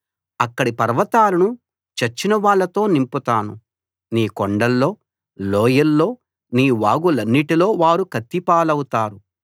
అక్కడి పర్వతాలను చచ్చిన వాళ్ళతో నింపుతాను నీ కొండల్లో లోయల్లో నీ వాగులన్నిటిలో వారు కత్తి పాలవుతారు